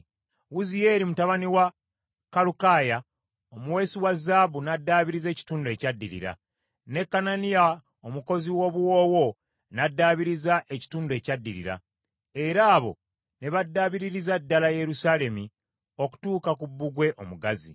Wuziyeeri mutabani wa Kalukaya, omuweesi wa zaabu n’addaabiriza ekitundu ekyaddirira, ne Kananiya omukozi w’obuwoowo, n’addaabiriza ekitundu ekyaddirira, era abo ne baddaabiririza ddala Yerusaalemi okutuuka ku Bbugwe Omugazi.